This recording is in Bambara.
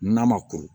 N'a ma kuru